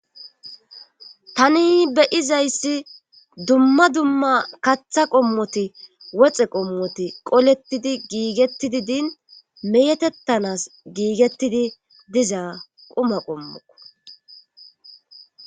tani beyizayssi dumma dumma katha qommoti woxe qommoti qolettidi giigettidi din meyetettanas giigettidi diza quma qommoko